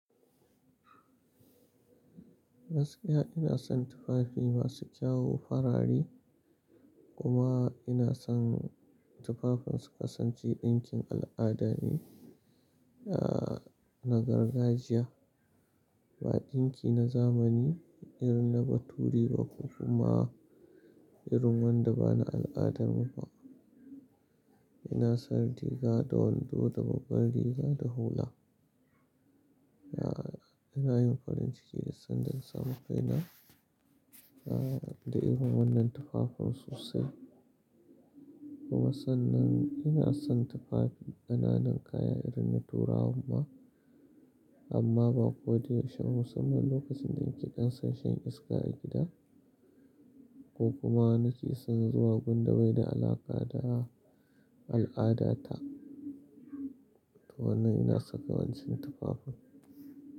Gaskiya ina son tufafi masu kyau farare kuma ina son tufafin su kasance ɗinkin al'ada ne, ah na gargajiya ba ɗinki na zamani irin na bature ba ko kuma irin wanda ba na al'adar mu ba. Ina son riga da wando da babbar riga da hula. Yaa ina yin farin ciki duk san da na samu kai da irin wannan tufafin sosai kuma sannan ina son tufafi ƙananan kaya irin na Turawan ma amma ba ko da yaushe ba musamman lokacin da nake ɗan son shan iska a gida ko kuma nake son zuwa gun da bai da alaƙa da al'adata. To nan ina saka wancan tufafin.